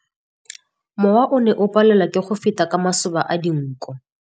Mowa o ne o palelwa ke go feta ka masoba a dinko.